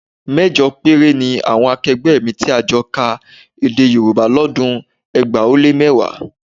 Mẹ́jọ péré ni àwọn akẹgbẹ́ mi tí a jọ ka Èdè Yorùbá lọ́dún ẹgbàá ó lé mẹ́wàá